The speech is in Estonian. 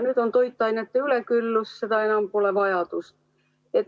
Nüüd on toiduainete üleküllus, seda vajadust enam pole.